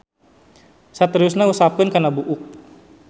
Saterusna usapkeun kana buuk.